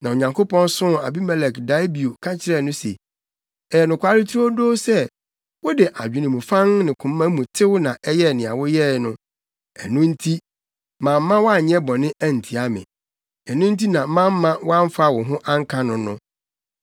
Na Onyankopɔn soo Abimelek dae bio ka kyerɛɛ no se, “Ɛyɛ nokware turodoo sɛ, wode adwene mu fann ne koma mu tew na ɛyɛɛ nea woyɛe no; ɛno nti, mamma woanyɛ bɔne antia me. Ɛno nti na mamma woamfa wo ho anka no no.